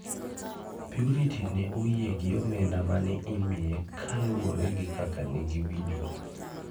Purity ne oyie gi omenda mane imiye kaluwore gi kaka negiwinjore.